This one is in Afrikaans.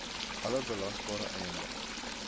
alle belasbare eiendom